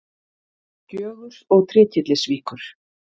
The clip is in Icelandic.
Gjögurs og Trékyllisvíkur.